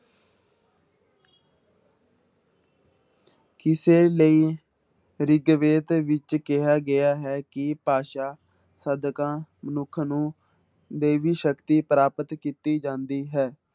ਕਿਸੇ ਲਈ ਰਿਗਵੇਦ ਵਿੱਚ ਕਿਹਾ ਗਿਆ ਹੈ ਕਿ ਭਾਸ਼ਾ ਸਦਕਾ ਮਨੁੱਖ ਨੂੰ ਦੇਵੀ ਸ਼ਕਤੀ ਪ੍ਰਾਪਤ ਕੀਤੀ ਜਾਂਦੀ ਹੈ।